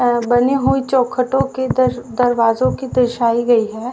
और बनी हुई चौखटों के दर दरवाजों की दर्शायी गई है।